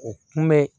O kunbɛ